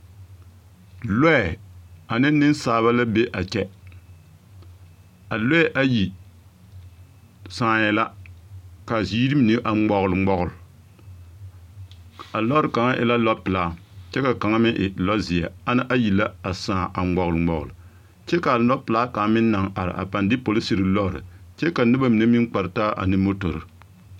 Lɔɛ ane nensaaba la be a kyɛ a lɔɛ ayi sããɛ la ka a ziiri mine a ŋmɔɡeleŋmɔɡele a lɔɔre kaŋa e la lɔpelaa kyɛ ka kaŋa meŋ e lɔzeɛ ana ayi la a sãã a ŋmɔɡeleŋmɔɡele kyɛ ka lɔpelaa kaŋ meŋ naŋ are a pãã de polisiri lɔre kyɛ ka noba mine meŋ kpar taa ane motori.